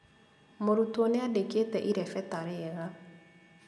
Mũrutwo nĩandĩkite irebeta rĩega